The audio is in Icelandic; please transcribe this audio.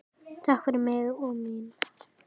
Takk fyrir mig og mína.